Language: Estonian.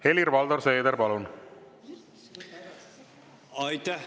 Helir-Valdor Seeder, palun!